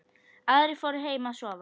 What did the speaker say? Aðrir fóru heim að sofa.